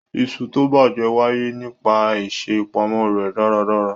Iṣu tó bàjẹ́ wáyé nípa àìṣè ìpamọ́ rẹ̀ dáradára.